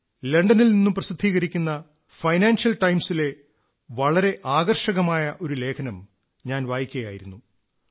ഞാൻ ലണ്ടനിൽ നിന്നു പ്രസിദ്ധീകരിക്കുന്ന ഫൈനാൻഷ്യൽ ടൈംസിലെ വളരെ ആകർഷകമായ ഒരു ലേഖനം വായിക്കയായിരുന്നു